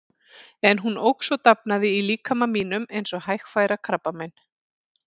En hún óx og dafnaði í líkama mínum eins og hægfara krabbamein.